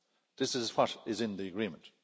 This is what is in the agreement.